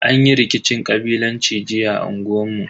Anyi rikicin kabilanci jiya a unguwan mu.